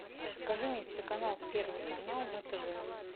покажи мне телеканал первый канал на тв